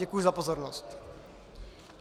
Děkuji za pozornost.